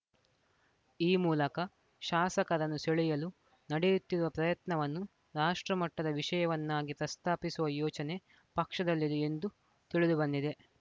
ಈ ಮೂಲಕ ಶಾಸಕರನ್ನು ಸೆಳೆಯಲು ನಡೆಯುತ್ತಿರುವ ಪ್ರಯತ್ನವನ್ನು ರಾಷ್ಟ್ರಮಟ್ಟದ ವಿಷಯವನ್ನಾಗಿ ಪ್ರಸ್ತಾಪಿಸುವ ಯೋಚನೆ ಪಕ್ಷದಲ್ಲಿದೆ ಎಂದು ತಿಳಿದು ಬಂದಿದೆ